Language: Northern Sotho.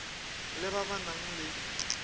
le ba ba nang le